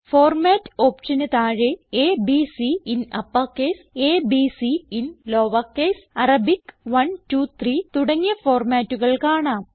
format ഓപ്ഷന് താഴെ A B C in uppercase a b c in lowercase Arabic 1 2 3 തുടങ്ങിയ ഫോർമാറ്റുകൾ കാണാം